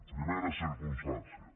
primera circumstància